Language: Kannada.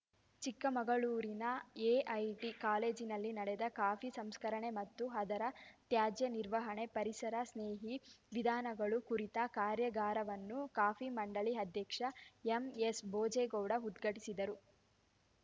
ಚಿಕ್ಕಮಗಳೂರಿನ ಎಐಟಿ ಕಾಲೇಜಿನಲ್ಲಿ ನಡೆದ ಕಾಫಿ ಸಂಸ್ಕರಣೆ ಮತ್ತು ಅದರ ತ್ಯಾಜ್ಯ ನಿರ್ವಹಣೆ ಪರಿಸರ ಸ್ನೇಹಿ ವಿಧಾನಗಳು ಕುರಿತ ಕಾರ್ಯಾಗಾರವನ್ನು ಕಾಫಿ ಮಂಡಳಿ ಅಧ್ಯಕ್ಷ ಎಂಎಸ್‌ ಭೋಜೇಗೌಡ ಉದ್ಘಾಟಿಸಿದರು